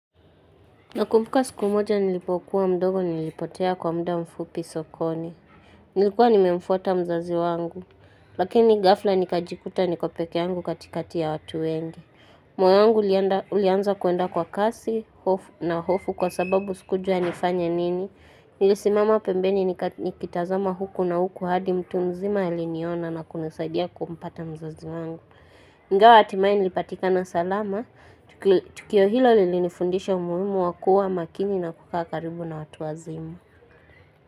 Nakumbuka siku moja nilipokua mdogo nilipotea kwa mda mfupi sokoni. Nilikuwa nimemfuta mzazi wangu. Lakini gafla nikajikuta niko peke yangu katikati ya watu wengi. Moyo wangu ulianza kuenda kwa kasi na hofu kwa sababu sikujua nifanye nini. Nilisimama pembeni nikitazama huku na huku hadi mtu mzima aliniona na kunisaidia kumpata mzazi wangu. Nga hatimaye nilipatika salama, tukio hilo lilinifundisha umuhimu wa kuwa makini na kukaa karibu na watu wazimu.